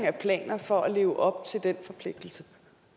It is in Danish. af planer for at leve op til den forpligtelse